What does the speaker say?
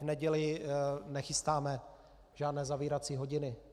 V neděli nechystáme žádné zavírací hodiny.